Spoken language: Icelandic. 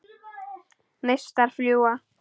Neistar fljúga.